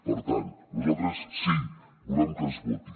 per tant nosaltres sí volem que es voti